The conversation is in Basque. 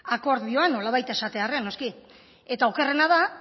akordioa nolabait esatearren noski eta okerrena da